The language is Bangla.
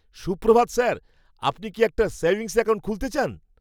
সুপ্রভাত স্যার! আপনি কি একটা সেভিংস অ্যাকাউন্ট খুলতে চান?